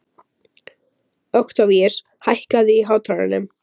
Októvíus, hækkaðu í hátalaranum.